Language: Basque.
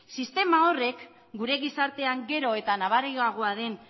sistema horrek gure gizartean gero eta nabariagoa den